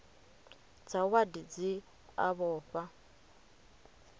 dza wadi dzi a vhofha